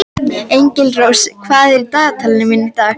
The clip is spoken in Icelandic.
Engilrós, hvað er á dagatalinu mínu í dag?